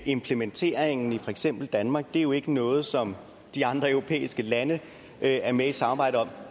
implementeringen i for eksempel danmark er jo ikke noget som de andre europæiske lande er med i samarbejdet om